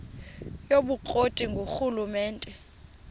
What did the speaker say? yobukro ti ngurhulumente